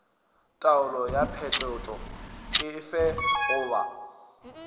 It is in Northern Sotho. taolo ya phetošo efe goba